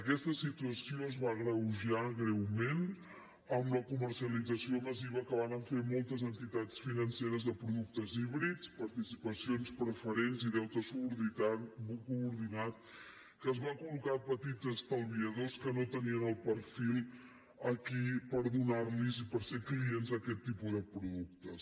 aquesta situació es va agreujar greument amb la comercialització massiva que varen fer moltes entitats financeres de productes híbrids participacions preferents i deute subordinat que es van colfil aquí per donar los i per ser clients d’aquest tipus de productes